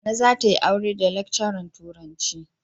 Nana za ta yi aure da lecturer turanci.